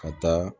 Ka taa